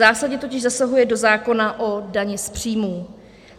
Zásadně totiž zasahuje do zákona o dani z příjmů.